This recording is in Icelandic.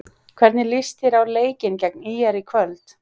Hvernig líst þér á leikinn gegn ÍR í kvöld?